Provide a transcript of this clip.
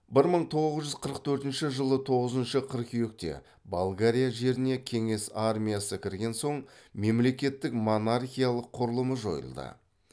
бір мың тоғыз жүз қырық төртінші жылы тоғызыншы қыркүйекте болгарияжеріне кеңес армиясы кірген соң мемлекеттік монархиялық құрылымы жойылды